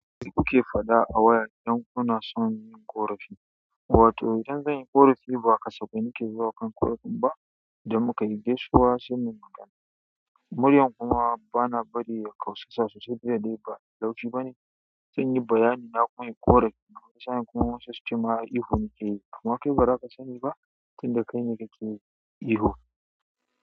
Me kuke faɗa a waya idan kuna son ƙorafi. Wato idan zanyi ƙorafi ba kasafai nake zuwa kan ƙorafin ba da muka yi gaisuwa sai muyi magana. Muryar kuma bana bari ya ƙausasa sosai duk da dai ba mai laushi bane. Sai inyi bayani na ko nayi ƙorafin wani sa in ma wasu suce ihu nake yi. Amma kai baza ka sani ba tunda kai ne ka ke ihu.